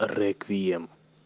реквием